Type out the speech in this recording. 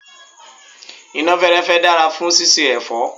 iná fẹ́ẹ́rẹ́fẹ́ dára fún síse èfọ́.